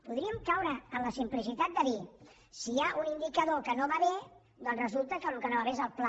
podríem caure en la simplicitat de dir si hi ha un indicador que no va bé doncs resulta que el que no va bé és el pla